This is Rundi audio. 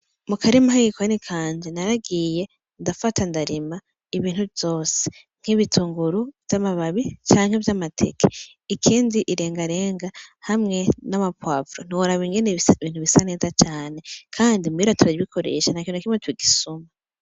Mukurima k'igikoni kanje naragiy ndafata ndarima ibintu vyose: nk'ibitunguru vy'amababi canke vy'amateke, ikindi irengarenga hamwe nama pwovuro ,ntiworab'ingene bisa neza cane kandi muhira turabikoresha ntakintu nakimwe tugisuma.